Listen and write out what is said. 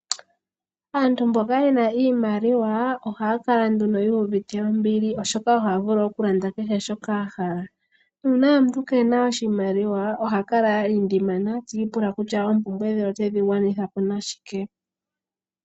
Aantu mboka yena iimaliwa ohaya kala nduno yuuvite ombili oshoka ohaya vulu oku landa kehe shoka ya hala. Uuna omuntu keena oshimaliwa oha kala a lindimana tiipula kutya oompumbwe dhe otedhi gwanitha po nashike.